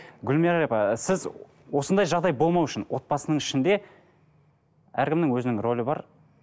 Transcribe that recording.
гүлмайра апа сіз осындай жағдай болмас үшін отбасының ішінде әркімнің өзінің рөлі бар